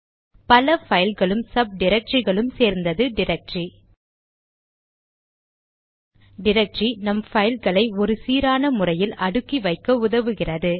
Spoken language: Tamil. பல பைல்களும் சப் டிரக்டரிகளும் சேர்ந்தது டிரக்டரி டிரக்டரி நம் பைல்களை ஒரு சீரான முறையில் அடுக்கி வைக்க உதவுகிறது